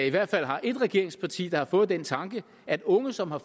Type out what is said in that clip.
i hvert fald har ét regeringsparti som har fået den tanke at unge som har